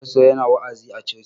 Pasto yana wa'azi a coci.